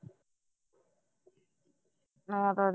ਆ ਤਾ